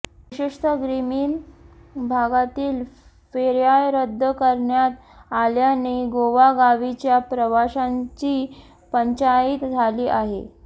विशेषतः ग्रामीण भागातील फेर्या रद्द करण्यात आल्याने गावोगावीच्या प्रवाशांची पंचाईत झाली आहे